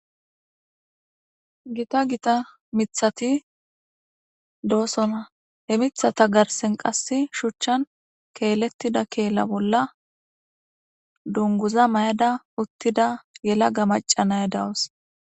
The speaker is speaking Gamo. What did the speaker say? Gitta gita miththati dossona he miththata garssen qasse shuchchan kelletida keela bolla dungguza mayada utida yellaga macca na'iya dawusu.